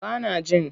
Ba nan jin.